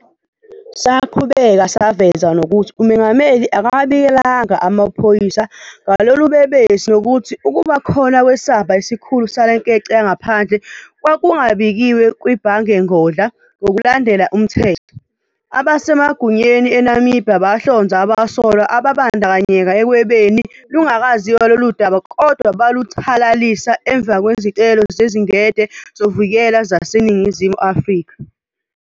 Saqhubeka saveza nokuthi umengameli akawabikelanga amaphoyisa ngalobulelesi nokuthi ukuba khona kwesamba esikhulu salenkece yangaphandle kwakungabikiwe kwibhangengodla ngokulandela umthetho. Abasemagunyeni eNamibiya bahlonza abasolwa ababandakanyeka ekwebeni lungakaziwa loludaba kodwa baluthalalisa emva kwezicelo zezingede zokuvikela zaseNingizimu afrika.